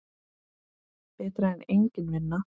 Betra en engin vinna.